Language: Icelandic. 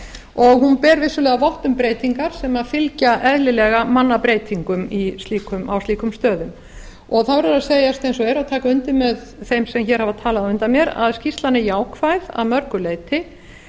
og hún ber vissulega vott um breytingar sem fylgja eðlilega mannabreytingum á slíkum stöðum það verður að segjast eins og er og taka undir með þeim sem hér hafa talað á undan mér að skýrslan er jákvæð að mörgu leyti